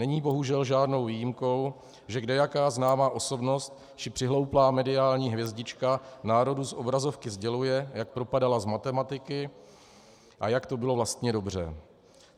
Není bohužel žádnou výjimkou, že kdejaká známá osobnost či přihlouplá mediální hvězdička národu z obrazovky sděluje, jak propadala z matematiky a jak to bylo vlastně dobře.